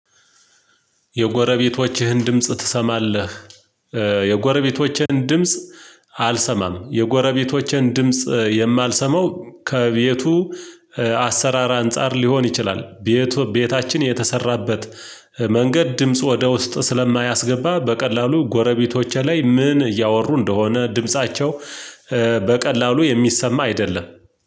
የጎረቤቶችህን ድምጽ ትሰማለህ? የጎረቤቶችህን ድምጽ አልሰማም የጎረቤቶቼን ድምጽ የማልሰማው ከቤቱ አሰራር አንፃር ሊሆን ይችላል። ቤቱ ቤታችን የተሰራበት መንገድ ድምጽ ወደ ውስጥ ስለማያስገባ። በቀላሉ ጎረቤቶቼ ላይ ምን እያወሩ እንደሆነ? ድምፃቸው በቀላሉ የሚሰማ አይደለም።